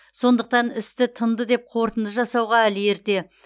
сондықтан істі тынды деп қорытынды жасауға әлі ерте